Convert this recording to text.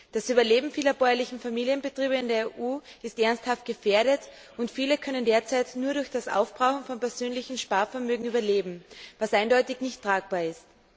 Das Überleben vieler bäuerlicher Familienbetriebe in der EU ist ernsthaft gefährdet, und viele können derzeit nur durch den Rückgriff auf persönliche Ersparnisse überleben, was eindeutig nicht tragbar ist.